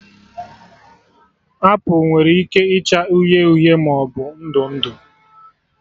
Apụl nwere ike ịcha uhie maọbụ ndụ ndụ